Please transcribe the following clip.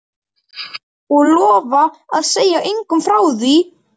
Og lofa að segja engum frá því?